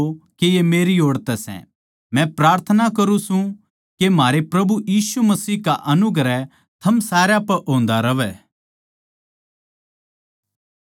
मै प्रार्थना करुँ सूं के म्हारे प्रभु यीशु मसीह का अनुग्रह थम सारया पै होंदा रहवै